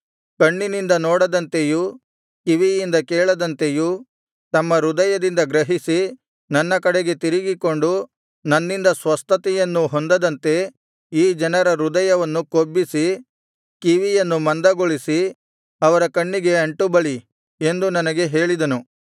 ಕಣ್ಣಿನಿಂದ ನೋಡದಂತೆಯೂ ಕಿವಿಯಿಂದ ಕೇಳದಂತೆಯೂ ತಮ್ಮ ಹೃದಯದಿಂದ ಗ್ರಹಿಸಿ ನನ್ನ ಕಡೆಗೆ ತಿರಿಗಿಕೊಂಡು ನನ್ನಿಂದ ಸ್ವಸ್ಥತೆಯನ್ನು ಹೊಂದದಂತೆ ಈ ಜನರ ಹೃದಯವನ್ನು ಕೊಬ್ಬಿಸಿ ಕಿವಿಯನ್ನು ಮಂದಗೊಳಿಸಿ ಅವರ ಕಣ್ಣಿಗೆ ಅಂಟು ಬಳಿ ಎಂದು ನನಗೆ ಹೇಳಿದನು